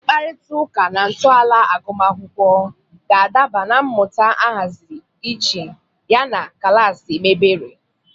Mkparịta ụka na ntọala agụmakwụkwọ ga-adaba na mmụta ahaziri iche yana klaasị mebere.